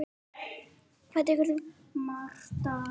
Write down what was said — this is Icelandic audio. Hvað tekur þú?